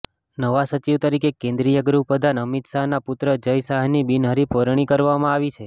નવા સચિવ તરીકે કેન્દ્રીય ગૃહપ્રધાન અમિત શાહના પુત્ર જય શાહની બિનહરિફ વરણી કરવામાં આવી છે